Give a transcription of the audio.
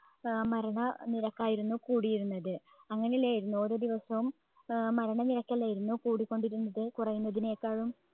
ഏർ മരണ നിരക്കായിരുന്നു കൂടിയിരുന്നത്. അങ്ങനെല്ലേയിരുന്നോ ഓരോ ദിവസവും ഏർ മരണനിരക്കല്ലെയിരുന്നു കൂടിക്കൊണ്ടിരുന്നത് കുറയുന്നതിനേക്കാളും